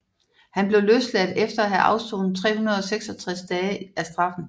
Han blev løsladt efter at have afsonet 366 dage af straffen